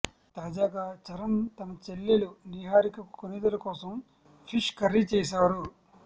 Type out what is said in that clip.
తాజాగా చరణ్ తన చెల్లెలు నీహారిక కొణిదల కోసం ఫిష్ కర్రీ చేశారు